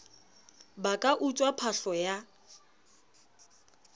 ba ka utswa phahlo ya